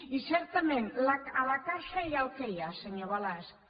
i certament a la caixa hi ha el que hi ha senyor balasch